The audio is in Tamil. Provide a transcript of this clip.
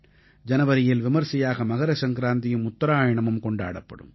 ஜனவரியில் விமர்சையாக மகர சங்கராந்தியும் உத்தராயணமும் கொண்டாடப்படும்